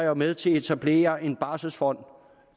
var med til at etablere en barselsfond